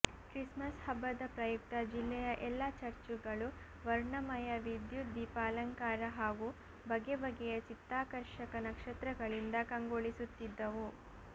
Christmas ಹಬ್ಬದ ಪ್ರಯುಕ್ತ ಜಿಲ್ಲೆಯ ಎಲ್ಲ ಚರ್ಚುಗಳು ವರ್ಣಮಯ ವಿದ್ಯುತ್ ದೀಪಾಲಂಕಾರ ಹಾಗೂ ಬಗೆ ಬಗೆಯ ಚಿತ್ತಾಕರ್ಷಕ ನಕ್ಷತ್ರಗಳಿಂದ ಕಂಗೊಳಿಸುತ್ತಿದ್ದವು